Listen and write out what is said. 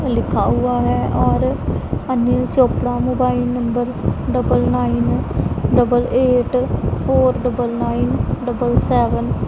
लिखा हुआ है और Anil Chopra mobile number double nine double eight four double nine double seven --